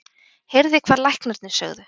Heyrði hvað læknarnir sögðu.